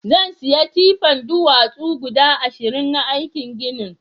zansiya tipan duwatsu guda ashirin na aikin ginin